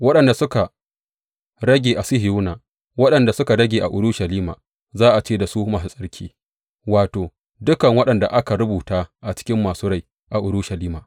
Waɗanda suka rage a Sihiyona, waɗanda suka rage a Urushalima, za a ce da su masu tsarki, wato, dukan waɗanda aka rubuta a cikin masu rai a Urushalima.